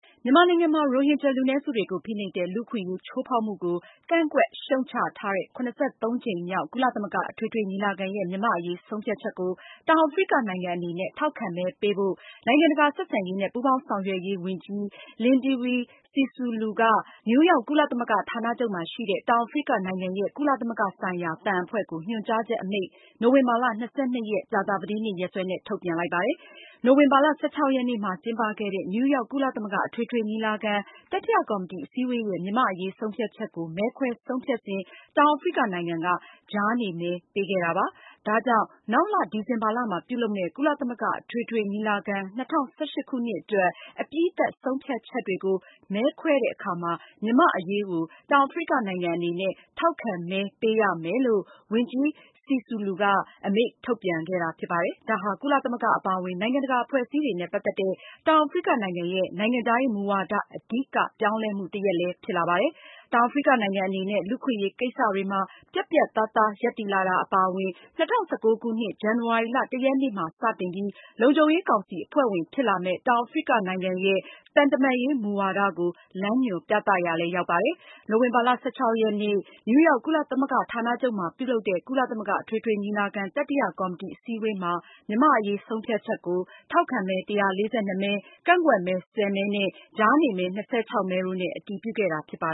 မြန်မာနိုင်ငံမှာ ရိုဟင်ဂျာ လူနည်းစုတွေကို ဖိနှိပ်တဲ့ လူ့အခွင့်အရေးချိုးဖာက်မှုကို ကန့်ကွက်ရှုတ် ချထားတဲ့ ၇၃ ကြိမ်မြောက် ကုလသမဂ္ဂအထွေထွေညီလာခံရဲ့ မြန်မာ့အရေးဆုံးဖြတ်ချက်ကို တောင်အာဖရိကနိုင်ငံအနေနဲ့ ထောက်ခံမဲပေးဖို့ နိုင်ငံတကာ ဆက်ဆံရေးနဲ့ ပူးပေါင်းဆောင်ရွက်ရေး ဝန်ကြီး Lindiwe Sisulu က နယူးယောက် ကုလသမဂ္ဂဌာနချုပ်မှာရှိတဲ့ တောင်အာဖရိကနိုင်ငံရဲ့ ကုလသမဂ္ဂဆိုင်ရာ သံအဖွဲ့ထံ ညွန်ကြားချက်အမိန့်ကို နိုဝင်ဘာလ (၂၂) ရက် ကြာသာပတေးနေ့ ရက်စွဲနဲ့ ထုတ်ပြန်ခဲ့ပါတယ်။ နိုဝင်ဘာလ (၁၆) ရက်နေ့မှာ ကျင်းပခဲ့တဲ့ နယူးယောက် ကုလသမဂ္ဂ အထွေထွေညီလာခံ တတိယ ကော်မတီ အစည်းအဝေးရဲ့ မြန်မာ့အရေးဆုံးဖြတ်ချက်ကို မဲခွဲဆုံးဖြတ်စဉ် တောင်အာဖရိကနိုင်ငံက ကြားနေမဲ ပေးခဲ့တာပါ။ ဒါကြောင့် နောက်လ ဒီဇင်ဘာလမှာပြုလုပ်မယ့် ကုလသမဂ္ဂအထွေထွေညီလာခံ ၂၀၁၈ ခုနှစ် အတွက် အပြီးသတ် ဆုံးဖြတ်ချက်တွေကို မဲခွဲတဲ့အခါမှာ မြန်မာ့အရေးကို တောင်အာဖရိကနိုင်ငံ အနေနဲ့ ထောက်ခံမဲ ပေးရမယ်လို့ ဝန်ကြီး Sisulu က အမိန့်ထုတ်ပြန်ခဲ့တာဖြစ်ပါတယ်။ ဒါဟာ ကုလသမဂ္ဂအပါအဝင် နိုင်ငံတကာ အဖွဲ့အစည်းတွေနဲ့ ပတ်သက်တဲ့ တောင်အာဖရိကနိုင်ငံရဲ့ နိုင်ငံခြားရေးမူဝါဒ အဓိကပြောင်းလဲမှု တရပ်ဖြစ်ပါတယ်။ တောင်အာဖရိကနိုင်ငံအနေနဲ့ လူ့အခွင့်အရေးကိစ္စတွေမှာ ပြတ်ပြတ်သားသားရပ်တည်လာတာ အပါအဝင် ၂၀၁၉ ခုနှစ် ဇန်နဝါရီလ (၁) ရက်နေ့မှာ စတင်ပြီး လုံခြုံရေးကောင်စီအဖွဲ့ဝင်ဖြစ်လာမယ့် တောင်အာဖရိက နိုင်ငံရဲ့ သံတမန်ရေးမူဝါဒကို လမ်းညွှန်ပြသရာရောက်ပါတယ်။ နိုဝင်ဘာလ (၁၆) ရက်နေ့ နယူးရောက် ကုလသမဂ္ဂဌာနချုပ်မှာပြုလုပ်တဲ့ ကုလသမဂ္ဂ အထွေထွေ ညီလာခံ တတိယကော်မတီအစည်းအဝေးမှာ မြန်မာ့အရေးဆုံးဖြတ်ချက်ကို ထောက်ခံမဲ ၁၄၂ မဲ၊ ကန့်ကွက်မဲ ၁၀ မဲ၊ ကြားနေမဲ ၂၆ မဲတို့နဲ့ အတည်ပြုခဲ့တာပါ